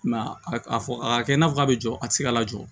I m'a ye a fɔ a ka kɛ i n'a fɔ k'a bɛ jɔ a tɛ se ka lajɔ